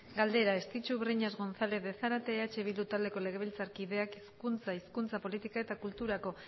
galdera estitxu breñas gonzález de zárate eh bildu taldeko legebiltzarkideak hezkuntza hizkuntza politika eta kulturako